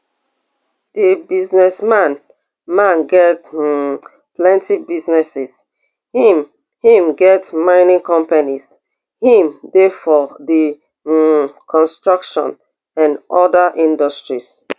di businessman man get um plenty businesses im im get mining companies im dey for di um construction and oda industries